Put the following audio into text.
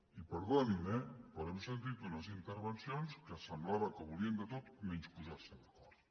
i perdonin eh però hem sentit unes intervencions que semblava que volien de tot menys posar se d’acord